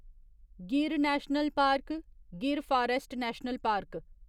Gir national park Gir forest national park